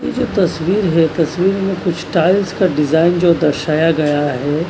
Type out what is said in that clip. ये जो तस्वीर है तस्वीर में कुछ टाइल्स का डिजाइन जो दर्शाया गया है।